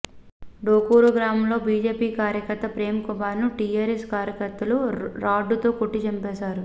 డోకూరు గ్రామంలో బీజేపీ కార్యకర్త ప్రేమ్ కుమార్ను టీఆర్ఎస్ కార్యకర్తలు రాడ్డుతో కొట్టి చంపేశారు